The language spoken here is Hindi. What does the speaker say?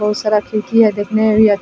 बहुत सारा खिड़की है देखने में भी अच्छा --